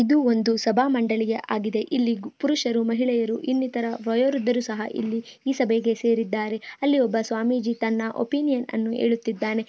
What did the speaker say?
ಇದು ಒಂದು ಸಭಾ ಮಂಡಳಿ ಹಾಗಿದೆ ಇಲ್ಲಿ ಪುರುಷರು ಮಹಿಳೆಯರು ಇನ್ನೂ ಇತರ ವಯೋ ವೃದ್ಧರೂ ಸಹ ಇಲ್ಲಿ ಈ ಸಭೆಗೆ ಸೇರಿದಾರೆ ಅಲ್ಲಿ ಒಂದು ಸ್ವಾಮೀಜಿ ತನ್ನ ಒಪೀನಿಯನ್ ಅನ್ನು ಹೇಳುತ್ತಾ ಇದ್ದಾನೆ.